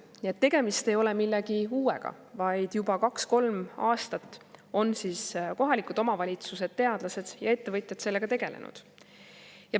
Nii et tegemist ei ole millegi uuega, vaid juba kaks-kolm aastat on kohalikud omavalitsused, teadlased ja ettevõtjad sellega tegelenud.